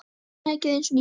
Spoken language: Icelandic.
Tækið eins og nýtt.